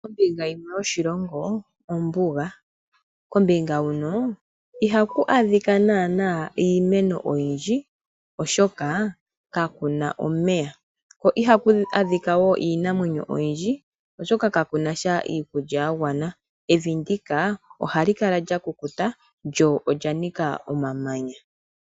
Ombinga yimwe yoshilonga ombuga kombinga huno ihaku adhaka naana iimeno oyindji oshoka kakuna omeya ko iha ku adhika woo iinamwenyo oyindjii oshoka kakunasha iikulya yagwana evi ndika ohali kala lya kukuta lyo olya nika omamanya.